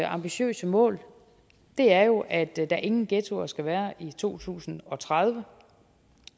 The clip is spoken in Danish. ambitiøse mål er jo at der ingen ghettoer skal være i to tusind og tredive